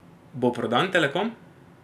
Bo prodan Telekom?